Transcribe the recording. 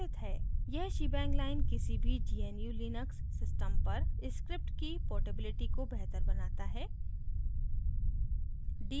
यह shebang line किसी भी gnu/linux system पर script की portability को बेहतर बनाता है